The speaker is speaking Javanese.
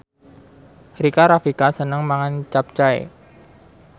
Rika Rafika seneng mangan capcay